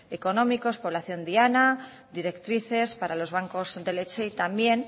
económicos población diana directrices para los bancos de leche y también